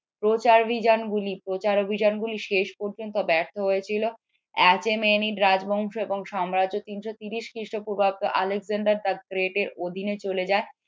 প্রচার অভিযানগুলি শেষ পর্যন্ত ব্যর্থ হয়েছিল রাজবংশ এবং সাম্রাজ্য তিনশো তিরিশ খ্রিস্টপূর্বাব্দ আলেকজান্ডার the great এর অধীনে চলে যায়